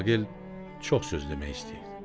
Aqil çox söz demək istəyirdi.